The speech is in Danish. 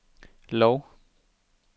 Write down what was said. Lov